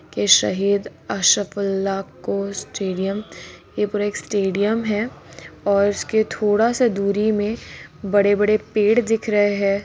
के शहीद अशफाकउल्लाह खां स्टेडियम ये पूरा एक स्टेडियम है और इसके थोड़ा से दूरी में बड़े-बड़े पेड़ दिख रहे है।